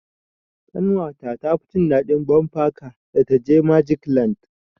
Ƙanwa ta tafi jin daɗin bumper car da ta je magic land.